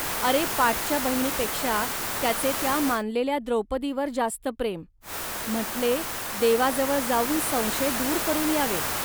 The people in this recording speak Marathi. अरे, पाठच्या बहिणीपेक्षा त्याचे त्या मानलेल्या द्रौपदीवर जास्त प्रेम. म्हटले, देवाजवळ जाऊन संशय दूर करून यावे